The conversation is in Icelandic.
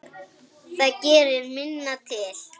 Það gerir minna til.